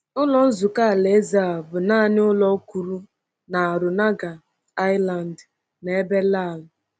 Ụlọ Nzukọ Alaeze a bụ naanị ụlọ kwụrụ na Ranongga Island n’ebe Lale.